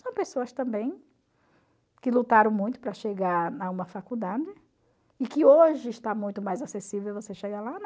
São pessoas também que lutaram muito para chegar a uma faculdade e que hoje está muito mais acessível você chegar lá